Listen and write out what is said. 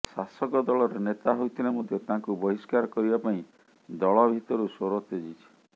ଶାସକ ଦଳର ନେତା ହୋଇଥିଲେ ମଧ୍ୟ ତାଙ୍କୁ ବହିଷ୍କାର କରିବା ପାଇଁ ଦଳ ଭିତରୁ ସ୍ୱର ତେଜିଛି